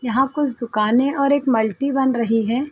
यहाँ कुछ दुकाने और एक मलटी बन रही है।